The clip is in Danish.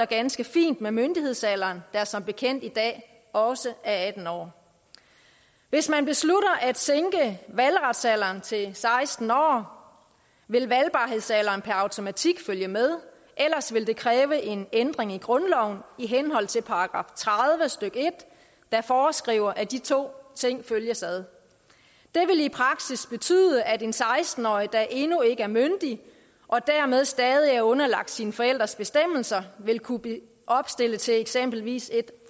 ganske fint med myndighedsalderen der som bekendt i dag også er atten år hvis man beslutter at sænke valgretsalderen til seksten år vil valgbarhedsalderen per automatik følge med ellers vil det kræve en ændring i grundloven i henhold til § tredive stykke en der foreskriver at de to ting følges ad det vil i praksis betyde at en seksten årig der endnu ikke er myndig og dermed stadig er underlagt sine forældres bestemmelser vil kunne blive opstillet til eksempelvis et